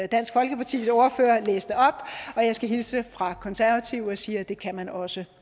dansk folkepartis ordfører læste op og jeg skal hilse fra konservative og sige at det kan man også